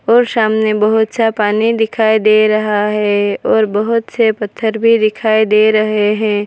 और सामने बहुत सा पानी दिखाई दे रहा है और बहुत से पत्थर भी दिखाई दे रहे हैं।